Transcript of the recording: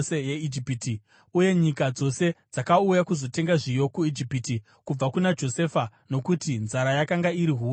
Uye nyika dzose dzakauya kuzotenga zviyo kuIjipiti kubva kuna Josefa, nokuti nzara yakanga iri huru munyika dzose.